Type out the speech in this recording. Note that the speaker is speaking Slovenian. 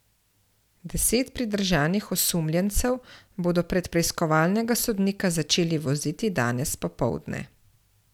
Deset pridržanih osumljencev bodo pred preiskovalnega sodnika začeli voziti danes popoldne.